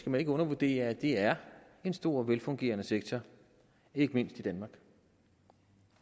man ikke undervurdere at det er en stor og velfungerende sektor ikke mindst i danmark